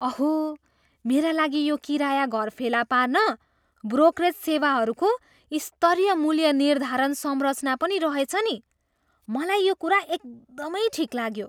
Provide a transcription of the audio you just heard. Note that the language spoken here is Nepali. अहो, मेरा लागि यो किराया घर फेला पार्न ब्रोकरेज सेवाहरूको स्तरीय मूल्य निर्धारण संरचना पनि रहेछ नि। मलाई यो कुरा एकदमै ठिक लाग्यो।